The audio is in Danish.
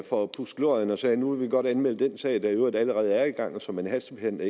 for at pudse glorien og siger nu vil vi godt anmelde den sag der i øvrigt allerede er i gang og som man hastebehandler